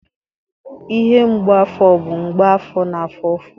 Ihe mgbu afọ bụ mgbe afọ na-afụ ụfụ.